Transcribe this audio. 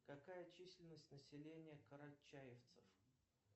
какая численность населения карачаевцев